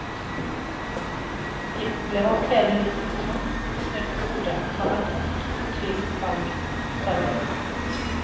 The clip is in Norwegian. De opplever at hele livssituasjonen blir snudd på hodet og tar et tungt og fortvilet valg, forteller hun.